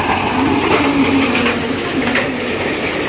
Ammo ularning bu nayrangi ham naf bermadi.